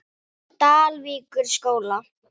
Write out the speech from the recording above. Dalvíkurskóla